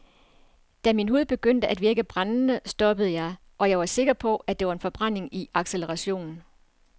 Da min hud begyndte at virke brændende stoppede jeg, og jeg var sikker på, det var en forbrænding i acceleration.